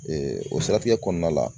o siratigɛ kɔnɔna la